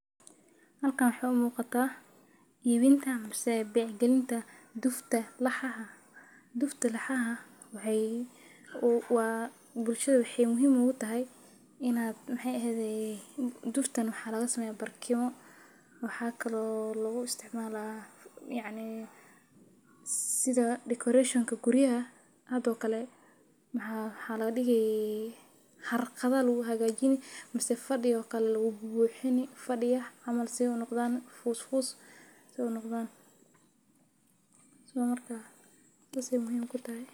Xalkan waxay umuqata, ibinta mise bec galinta duufta laxaxa, duufta laxaxa, waxay waa bulshada waxay muxiim ogu taxay, inad maxay exedey, duuftan waxa lagasameya barkimo, waxa kalo laguisticmala, yaacni sidha decoration guriyaxa, xado kale maxa lagadigii, xargada laguxagajini mise fadii oo kale lagubuxini, fadiiya camal sidhay nogdan, fusfus si unogdan, so marka sas ay muxiim kutaxay.